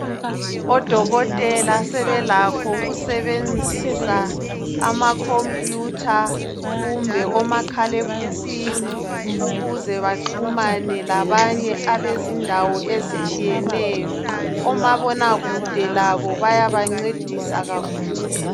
Odokotela sebelakho ukusebenzisa amakhompiyutha kumbe omakhalekhukhwini ukuze baxhumane labantu bezindawo ezitshiyeneyo. Omabonakudw labo bayabancedisa kakhulu.